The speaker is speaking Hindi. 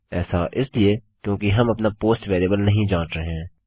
ऐसा इसलिए क्योंकि हम अपना पोस्ट वेरिएबल नहीं जाँच रहे हैं